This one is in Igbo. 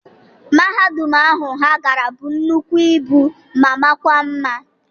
Mahadum ahu ha gara bụrụ nnukwu ibu ma makwa mma.